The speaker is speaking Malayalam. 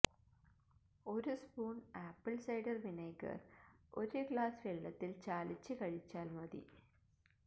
ഒരു സ്പൂണ് ആപ്പിള് സിഡാര് വിനീഗര് ഒരു ഗ്ലാസ്സ് വെള്ളത്തില് ചാലിച്ച് കഴിച്ചാല് മതി